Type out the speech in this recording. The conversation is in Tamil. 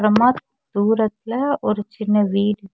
அப்புறமா தூரத்துல ஒரு சின்ன வீடு இருக்--